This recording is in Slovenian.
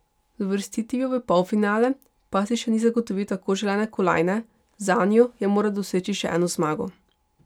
Z uvrstitvijo v polfinale pa si še ni zagotovil tako želene kolajne, zanjo je moral doseči še eno zmago.